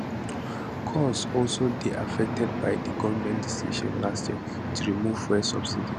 costs also dey affected by di goment decision last year to remove fuel subsidies